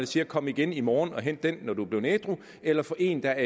siger kom igen i morgen og hent den når du er blevet ædru eller få en der